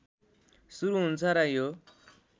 सुरु हुन्छ र यो